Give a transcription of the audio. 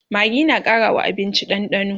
maggi na Karawa abinci dandano